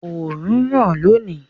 Òòrùn ń ràn lónìí.